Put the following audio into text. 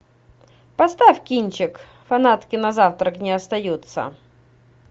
поставь кинчик фанатки на завтрак не остаются